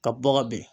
Ka bɔgɔ bin